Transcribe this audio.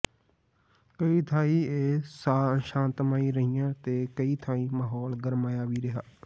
ਕਈ ਥਾਈਂ ਇਹ ਸ਼ਾਤਮਈ ਰਹੀਆਂ ਤੇ ਕਈ ਥਾਈਂ ਮਾਹੌਲ ਗਰਮਾਇਆ ਵੀ ਰਿਹਾ